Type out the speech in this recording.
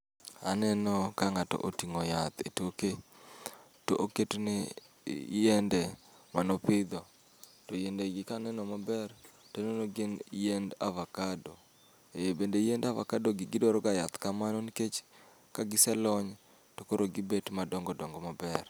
Aneno ka ng'ato oting'o yath e toke, to oketne yiende mano pidho. To yiende gi kaneno maber, taneno gin yiend avakado. E bende yiend avakado gi gidwaro ga yath kamano nikech kagiselony to koro gibet madongo dongo maber.